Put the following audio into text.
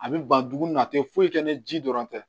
A bɛ ban dumuni na a tɛ foyi kɛ ni ji dɔrɔn tɛ